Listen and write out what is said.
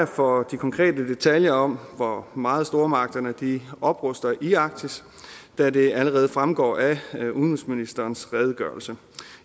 for de konkrete detaljer om hvor meget stormagterne opruster i arktis da det allerede fremgår af udenrigsministerens redegørelse